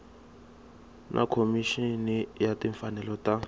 na khomixini ya timfanelo ta